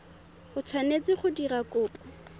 o tshwanetse go dira kopo